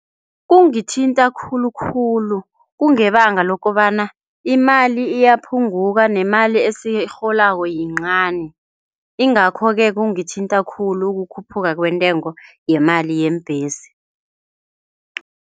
Kungithinta khulukhulu kungebanga lokobana imali iyaphunguka nemali esiyirholako yincani. Ingakho-ke kungithinta khulu ukukhuphuka kwentengo yemali yeembhesi.